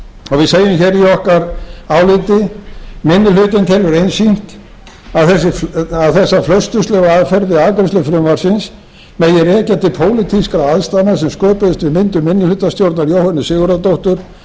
við segjum í okkar áliti minni hlutinn telur einsýnt að þessi flausturslega aðferð við afgreiðslu frumvarpsins megi rekja til pólitískra aðstæðna sem sköpuðust við myndun minnihlutastjórnar jóhönnu sigurðardóttur